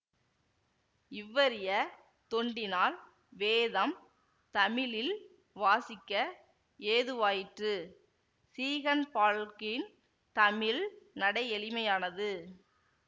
இவ்வரிய தொண்டினால் வேதம் தமிழில் வாசிக்க ஏதுவாயிற்று சீகன்பால்க்கின் தமிழ் நடை எளிமையானது